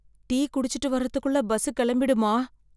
Tea குடிச்சுட்டு வர்றதுக்குள்ள bus கிளம்பிடுமா?